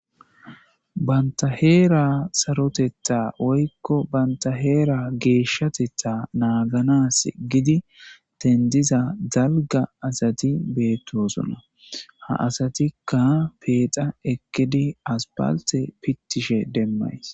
bantaheera sarotetta oykko bantaheera geeshshatetta naaganas gidi tendiza dalga asati beettosona ha asatikka peexa ekkedi aspalte pittishe demmays